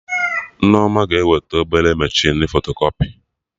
Nneoma ga-eweta obere mechinu fotokọpị